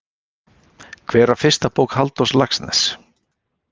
Hver var fyrsta bók Halldórs Laxness?